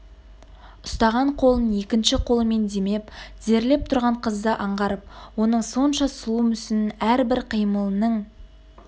ұстаған қолын екінші қолымен демеп тізерлеп тұрған қызды аңғарып оның сонша сұлу мүсінін әрбір қимылының